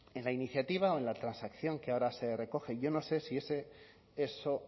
en la iniciativa o en la transacción que ahora se recoge yo no sé si eso